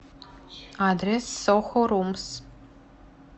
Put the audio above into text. адрес сохо румс